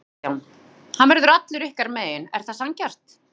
Kristján: Hann verður allur ykkar megin, er það sanngjarnt?